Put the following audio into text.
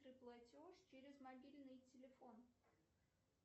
платеж через мобильный телефон